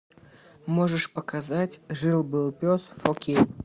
можешь показать жил был пес фор кей